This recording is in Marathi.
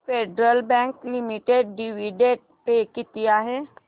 federal Bank Limited dividend pay किती आहे